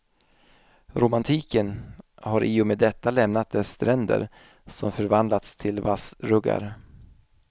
Romantiken har i och med detta lämnat dess stränder, som förvandlats till vassruggar.